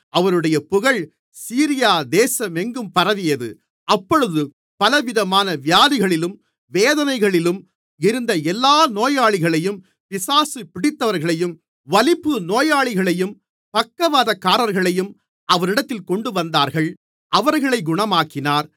அவருடைய புகழ் சீரியா தேசமெங்கும் பரவியது அப்பொழுது பலவிதமான வியாதிகளிலும் வேதனைகளிலும் இருந்த எல்லா நோயாளிகளையும் பிசாசு பிடித்தவர்களையும் வலிப்பு நோயாளிகளையும் பக்கவாதக்காரர்களையும் அவரிடத்தில் கொண்டுவந்தார்கள் அவர்களைக் குணமாக்கினார்